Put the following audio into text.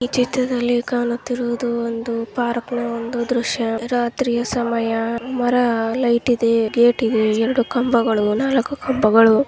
ಈ ಚಿತ್ರದಲ್ಲಿ ಕಾಣುತ್ತಿರುವುದು ಒಂದು ಪಾರ್ಕ್ನ ಒಂದು ದೃಶ್ಯ ರಾತ್ರಿಯ ಸಮಯ ಮರ ಲೈಟ್ ಇದೆ ಗೇಟ್ ಇದೆ. ಎರೆಡು ಕಂಬ--